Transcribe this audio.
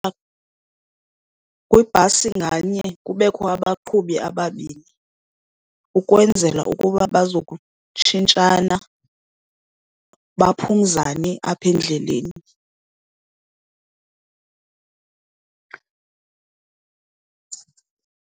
Kwibhasi nganye kubekho abaqhubi ababini ukwenzela ukuba bazokutshintshana baphumzane apha endleleni.